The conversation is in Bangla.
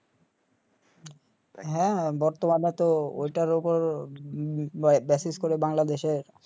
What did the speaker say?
হা বর্তমানেতো ঐটার উপর করে বাংলাদেশে